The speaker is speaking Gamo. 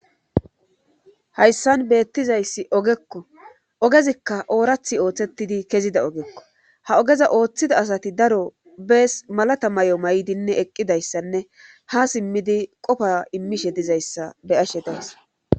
hayssan beettizayssi ogekko ogezikka oorathi ooththettidi kezida ogekko ha ogeza ooththida asati daro bees malata may7o may7dinne eqqidayssanne ha simmidi qofa immishe dizayssa be ashe daes